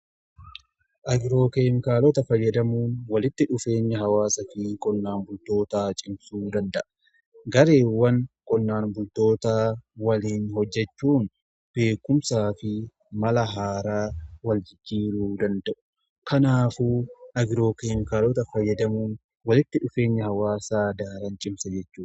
agiroo keemikaalota fayyadamuun walitti dhufeenya hawaasaa fi qonnaan bultootaa cimsuu danda'a. gareewwan qonnaan bultootaa waliin hojjechuun beekumsaa fi mala haaraa wal jijiiruu danda'u. kanaafu agiroo keemikaalota fayyadamuun walitti dhufeenya hawaasaa daran cimsa jechudha.